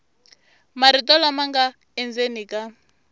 marito lama nga endzeni ka